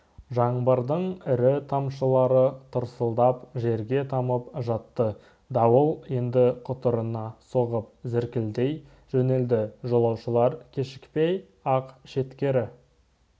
жаңбырдың ірі тамшылары тырсылдап жерге тамып жатты дауыл енді құтырына соғып зіркілдей жөнелді жолаушылар кешікпей-ақ шеткері